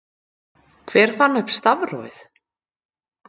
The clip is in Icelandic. hver fann upp stafrófið